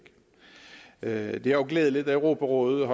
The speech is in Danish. er jo glædeligt at europarådet